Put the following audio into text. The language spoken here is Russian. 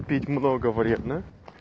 пить много вредно